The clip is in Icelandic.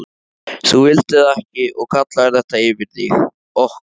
Þú vildir það ekki og kallaðir þetta yfir þig, okkur.